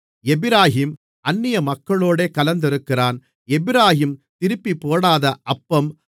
எப்பிராயீம் அந்நியமக்களோடே கலந்திருக்கிறான் எப்பிராயீம் திருப்பிப்போடாத அப்பம்